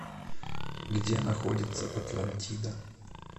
где находится атлантида